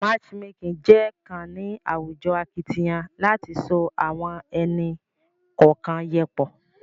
matchmaking je kàn ní àwùjọ akitiyan láti so awọn ẹni kọọkan yẹ pọ